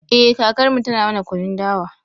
Eh kakarmu tana mana kunun dawa